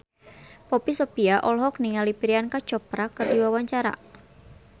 Poppy Sovia olohok ningali Priyanka Chopra keur diwawancara